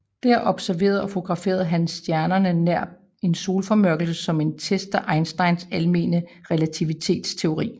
Der observerede og fotograferede han stjernerne nær en solformørkelse som en test af Einsteins almene relativitetsteori